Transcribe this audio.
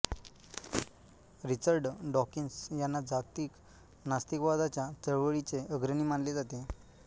Richard Dawkins यांना जागतिक नास्तिकवादाच्या चळवळीचे अग्रणी मानले जाते